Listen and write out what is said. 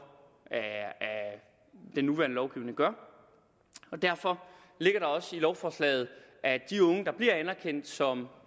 at den nuværende lovgivning gør og derfor ligger der også i lovforslaget at de unge der bliver anerkendt som